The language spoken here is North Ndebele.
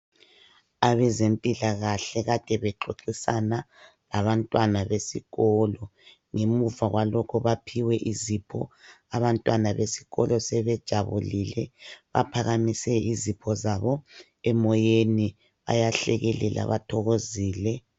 Abazempilakahle akade bexoxisana labantwana besikolo ngemuva kwalokho baphiwe izipho abantwana besikolo sebejabulile. Baphakamise izipho zabo emoyeni bayahlekelela bathokozile.